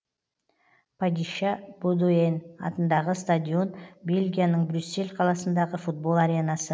падища бодуэн атындағы стадион бельгияның брюссель қаласындағы футбол аренасы